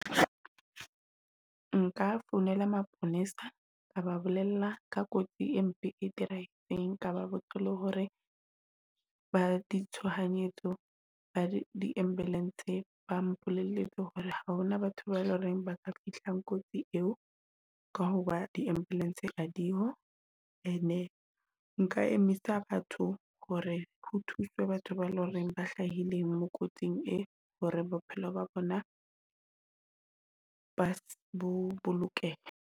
Nka founela maponesa ka ba bolella ka kotsi empe e dirahetseng. Ka ba botsa le hore ba di tshohanyetso ba di ambulance, ba mpolelletse hore ha hona batho bae loreng ba ka fihlang kotsi eo ka ho ba di-ambulance ha dio. And nka emisa batho hore ho thuswe batho ba leng hore ba hlahileng mo kotsing e hore bophelo ba bona ba bo bolokehe.